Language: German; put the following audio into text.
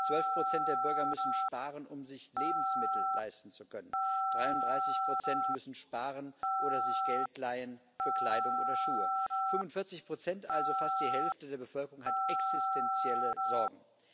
Zwölf Prozent der Bürger müssen sparen, um sich Lebensmittel leisten zu können, 33 Prozent müssen sparen oder sich Geld leihen für Kleidung oder Schuhe, 45 also fast die Hälfte der Bevölkerung haben existentielle Sorgen.